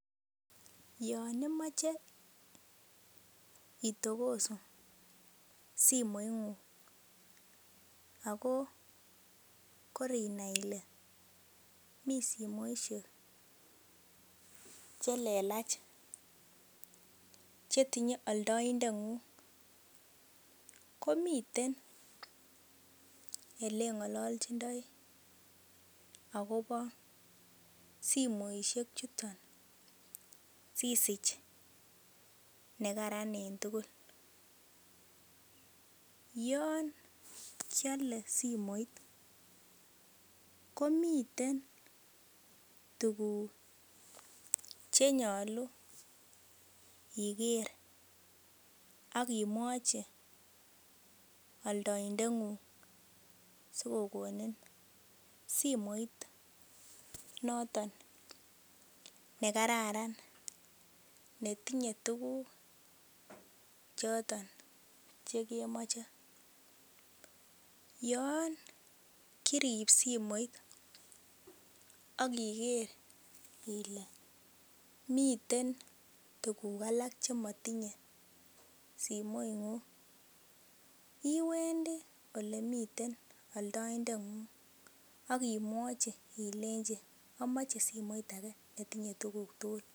Yon imoche itogosu Simoingung ako korinai ile mi simoisiek Che lelach Che tinye aldaet ngung komiten Ole ngololchindoi agobo simoisiek chuton si sich nekararan en tugul yon kiale simoit komiten tuguk Che nyolu iger ak imwachi aldaindetngung asi kogonin simoit noton nekararan ne tinye tuguk choton Che kemoche yon kirib simoit ak iger ile miten tuguk alak Che motinye simoingung iwendi Ole miten aldaindengung ak imwachi ilenji amoche simoit age ne tinye tuguk tugul